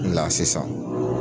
N la sisan